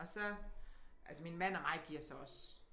Og så altså min mand og mig giver så også